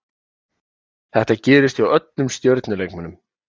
Þetta gerist hjá öllum stjörnu leikmönnum.